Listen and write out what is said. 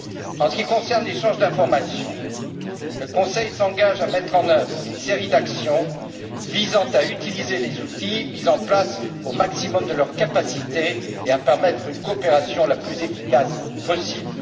En ce qui concerne l'échange d'informations, le Conseil s'engage à mettre en œuvre une série d'actions visant à utiliser les outils mis en place au maximum de leurs capacités et à permettre une coopération la plus efficace possible.